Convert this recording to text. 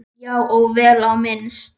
Já, og vel á minnst.